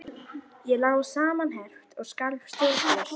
Ég lá samanherpt og skalf stjórnlaust.